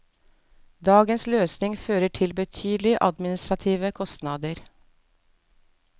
Dagens løsning fører til betydelige administrative kostnader.